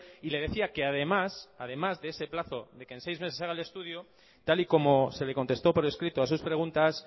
y le decía que además además de ese plazo de que en seis meses se haga el estudio tal y como se le contestó por escrito a sus preguntas